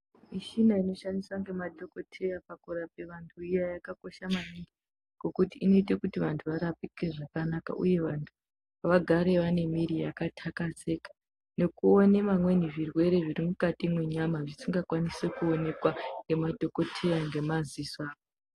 Mishina inoshandiswa ngemadhokodheya pakurapa vantu iya yakakosha maningi ngekuti inoite kuti vantu varapike zvakanaka uye vantu vagare vanemiri yakatakazeka nekuone vamweni zvirwere zviri mukati mwenyama zvisinga kwanisi kuonekwa ngemadhokoteya ngemaziso